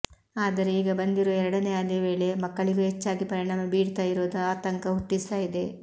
ಆದರೆ ಈಗ ಬಂದಿರೋ ಎರಡನೇ ಅಲೆ ವೇಳೆ ಮಕ್ಕಳಿಗೂ ಹೆಚ್ಚಾಗಿ ಪರಿಣಾಮ ಬೀರ್ತಾ ಇರೋದು ಆತಂಕ ಹುಟ್ಟಿಸ್ತಾ ಇದೆ